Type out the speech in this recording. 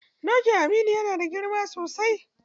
Dokin Aminu yana da girma sosai.